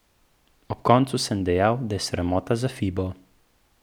Ob koncu sem dejal, da je sramota za Fibo.